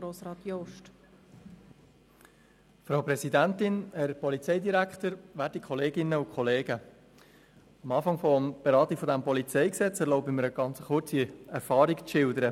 Ich erlaube mir, am Anfang der Beratung des PolG kurz eine Erfahrung zu schildern.